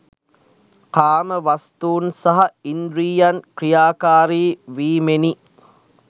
කාමවස්තූන් සහ ඉන්ද්‍රියන් ක්‍රියාකාරී වීමෙනි.